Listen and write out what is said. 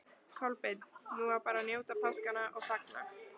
Kolbeinn: Nú á bara að njóta páskanna og fagna?